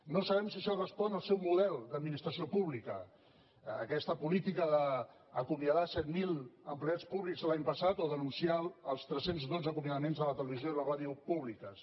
no sabem si això respon al seu model d’administració pública aquesta políti·ca d’acomiadar set mil empleats públics l’any passat o d’anunciar els tres cents i dotze acomiadaments de la televisió i la ràdio públiques